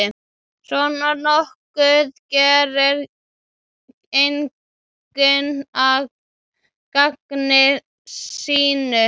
Svona nokkuð gerir enginn að gamni sínu.